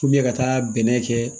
ka taa bɛnɛ kɛ